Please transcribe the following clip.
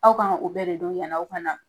Aw k'an ka o bɛɛ de don yani aw ka na.